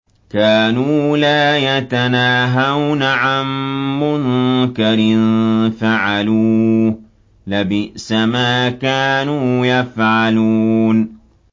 كَانُوا لَا يَتَنَاهَوْنَ عَن مُّنكَرٍ فَعَلُوهُ ۚ لَبِئْسَ مَا كَانُوا يَفْعَلُونَ